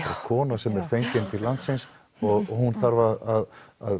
kona sem er fengin til landsins og hún þarf að